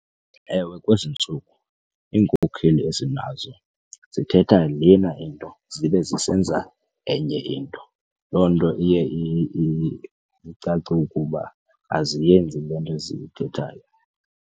Ewe, kwezi ntsuku iinkokheli esinazo zithetha lena into zibe zisenza enye into. Loo nto iye icace ukuba aziyenzi loo nto ziyithethayo.